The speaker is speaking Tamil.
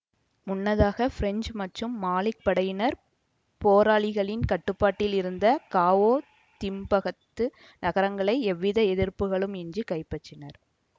முன்னதாக பிரெஞ்சு மற்றும் மாலிப் படையினர் போராளிகளின் கட்டுப்பாட்டில் இருந்த காவோ திம்பகது நகரங்களை எவ்வித எதிர்ப்புகளும் இன்றி கைப்பற்றினர்